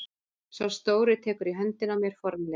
Sá stóri tekur í höndina á mér formlegur.